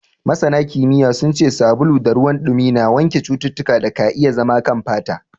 Scientifically, soap and water wash germs from the skin.